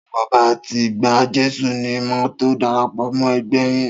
Tí mo bá ti gba Jésù ni màá tó darapọ̀ mọ́ ẹgbẹ́ẹ yín.